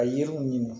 A yiriw ɲimi